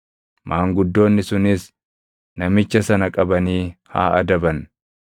maanguddoonni sunis namicha sana qabanii haa adaban.